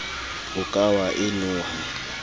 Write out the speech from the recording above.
o ka wa e noha